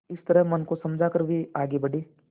इस तरह मन को समझा कर वे आगे बढ़े